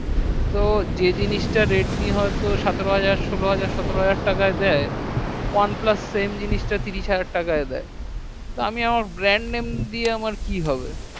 তো যে জিনিসটা redmi সোলো হাজার সাতরো হাজার টাকায় দেয় তো oneplus same জিনিয়াসটা ত্রিশ হাজার তাকাই দেয় তো আমি আমার brand নাম দেয়া কী হবে